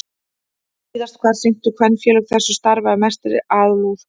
Víðast hvar sinntu kvenfélög þessu starfi af mestri alúð.